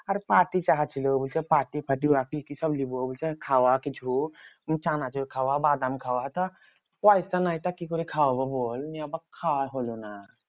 আর party চাহাছিলো। বলছে party party ওরা কি কিসব লিবো বলছে? খাওয়া কিছু? চানাচুর খাওয়া বাদাম খাওয়া? তো পয়সা নাই তো কি করে খাওয়াবো বল? নিয়ে আবার খাওয়া হলো না।